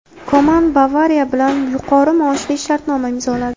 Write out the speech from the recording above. Koman "Bavariya" bilan yuqori maoshli shartnoma imzoladi.